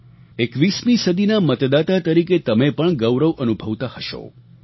21મી સદીના મતદાતા તરીકે તમે પણ ગૌરવ અનુભવતા હશો